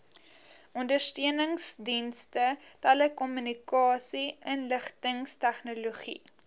ondersteuningsdienste telekommunikasie inligtingstegnologie